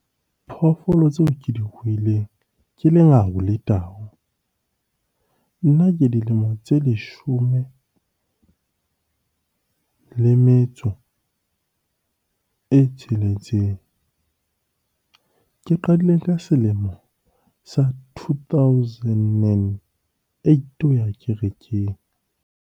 Phoofolo tseo ke di ruileng ke lengau le tau. Nna ke dilemo tse leshome le metso e tsheletseng. Ke qadile ka selemo sa two thousand nine eight ho ya kerekeng.